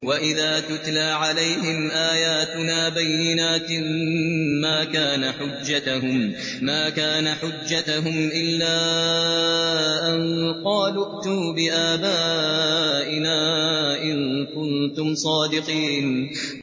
وَإِذَا تُتْلَىٰ عَلَيْهِمْ آيَاتُنَا بَيِّنَاتٍ مَّا كَانَ حُجَّتَهُمْ إِلَّا أَن قَالُوا ائْتُوا بِآبَائِنَا إِن كُنتُمْ صَادِقِينَ